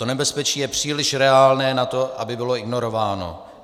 To nebezpečí je příliš reálné na to, aby bylo ignorováno.